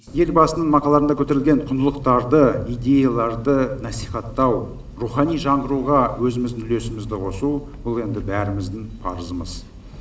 елбасының мақалаларында көтерілген құндылықтарды идеяларды насихаттау рухани жаңғыруға өзіміздің үлесімізді қосу бұл енді бәріміздің парызымыз